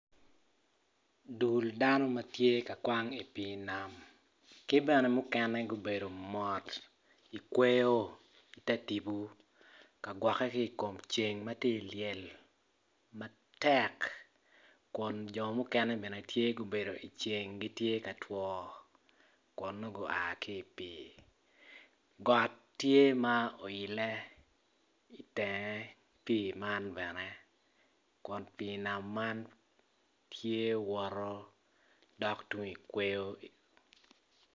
Dul dano ma gitye ka kwan i pii nam ki mukene gubedo i kweyo ki gwokke i kom ceng got tye oile malo.